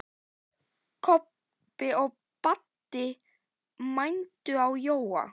Kobbi og Baddi mændu á Jóa.